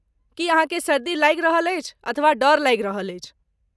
की अहाँकेँ सर्दी लागि रहल अछि अथवा डर लागि रहल अछि?